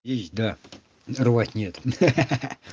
есть да но рвать нет ха-ха